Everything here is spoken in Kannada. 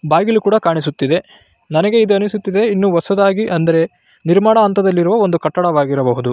ಬಾಗಿಲು ಕೂಡ ಕಾಣಿಸುತ್ತಿದೆ ನನಗೆ ಇದು ಅನಿಸುತ್ತಿದೆ ಇನ್ನು ಹೊಸದಾಗಿ ಅಂದರೆ ನಿರ್ಮಾಣ ಹಂತದಲ್ಲಿರುವ ಒಂದು ಕಟ್ಟಡವಾಗಿರಬಹುದು .